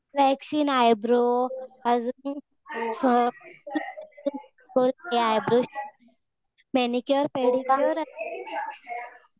waxing, eyebrow अजून eyebrow, manicure, pedicure